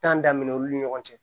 tanmina olu ni ɲɔgɔn cɛ